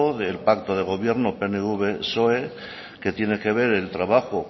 del pacto de gobierno pnv psoe que tiene que ver el trabajo